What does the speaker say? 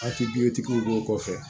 Hakilitigiw b'o kɔfɛ